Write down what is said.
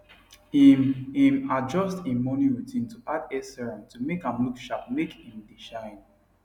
im im adjust im morning routine to add hair serum to make am look sharpmake im dae shine